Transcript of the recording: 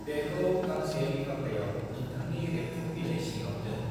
बेखौ गांसे लिफाफायाव नोंथांनि रेबथुम बिलाय सिङाव दोन।